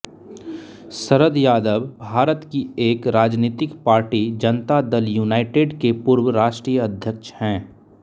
शरद यादव भारत की एक राजनीतिक पार्टी जनता दल यूनाइटेड के पूर्व राष्ट्रीय अध्यक्ष हैं